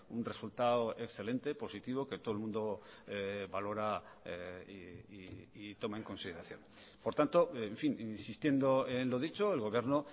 un resultado excelente positivo que todo el mundo valora y toma en consideración por tanto en fin insistiendo en lo dicho el gobierno